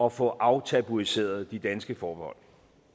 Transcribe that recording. at få aftabuiseret de danske forbehold